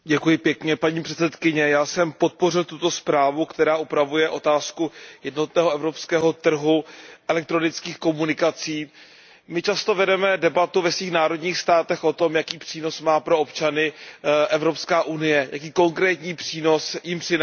Paní předsedající, já jsem podpořil tuto zprávu, která upravuje otázku jednotného evropského trhu elektronických komunikací. My často vedeme debatu ve svých národních státech o tom, jaký přínos má pro občany Evropská unie, jaký konkrétní přínos jim přináší.